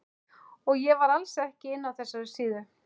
Og ég var alls ekki inni á þessari síðu!